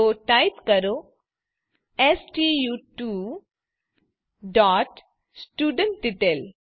તો ટાઇપ કરોstu2studentDetail